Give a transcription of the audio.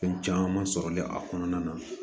Fɛn caman sɔrɔlen a kɔnɔna na